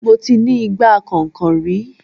Mo ti ní igbá kànhìnkànhìn rí